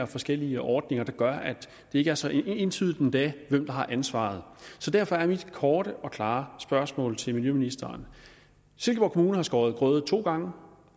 forskellige ordninger der gør at det ikke er så entydigt endda hvem der har ansvaret derfor er mit korte og klare spørgsmål til miljøministeren silkeborg kommune har skåret grøde to gange og